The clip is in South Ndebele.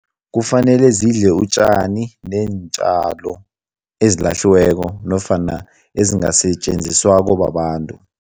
Kufanele zidle utjani neentjalo ezilahliweko nofana ezingasetjenziswako babantu.